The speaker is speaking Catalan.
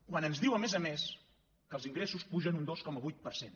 quan ens diu a més a més que els ingressos pugen un dos coma vuit per cent